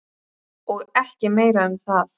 Og ekki meira um það.